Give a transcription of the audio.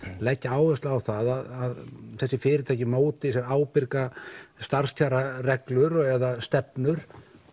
leggja áherslu á það að þessi fyrirtæki móti sér ábyrgar eða stefnur